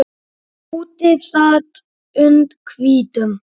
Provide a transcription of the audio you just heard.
Úti sat und hvítum